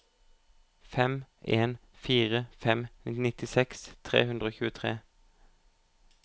fem en fire fem nittiseks tre hundre og tjuetre